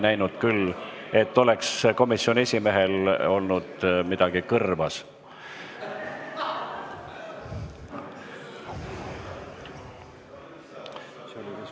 Ma küll ei näinud, et komisjoni esimehel oleks midagi kõrvas olnud.